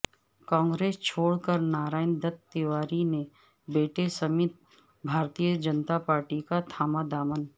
کانگریس چھوڑ کر نارائن دت تیواری نے بیٹے سمیت بھارتیہ جنتا پارٹی کا تھاما دامن